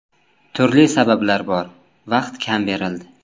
Turli sabablar bor, vaqt kam berildi.